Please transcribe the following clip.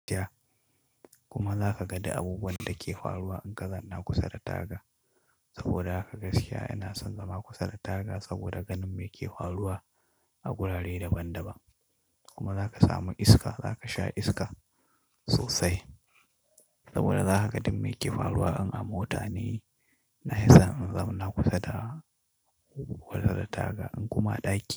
Kuma za kaga da abubuwan da ke faruwa in ka zauna kusa da taga. Saboda haka gaskiya ina son zama kusa da taga saboda ganin me ke faruwa a wurare daban-daban. Kuma za ka samu iska zaka sha iska sosai. Saboda za ka ga duk me yake faruwa. In an mota ne, na hi son in zauna kusa da taga in kuma a ɗaki.